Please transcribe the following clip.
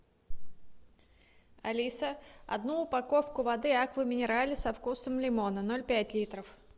алиса одну упаковку воды аква минерале со вкусом лимона ноль пять литров